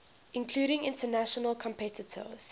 including international competitors